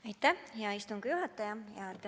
Aitäh, hea istungi juhataja!